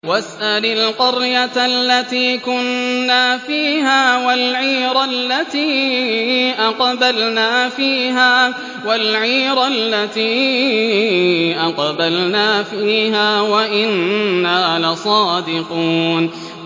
وَاسْأَلِ الْقَرْيَةَ الَّتِي كُنَّا فِيهَا وَالْعِيرَ الَّتِي أَقْبَلْنَا فِيهَا ۖ وَإِنَّا لَصَادِقُونَ